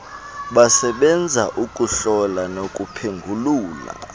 basebenza ukuhlola nokuphengulula